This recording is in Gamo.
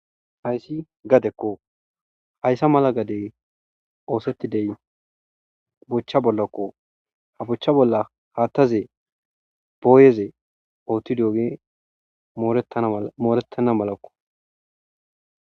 Hayssi gadekko hayssa mala gade oosettidey bochcha bollakko ha bochcha bolla haattaze booyeze ootti dooge mooretana malakko.